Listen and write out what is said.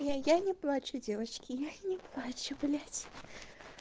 я я не плачу девочки я не плачу блять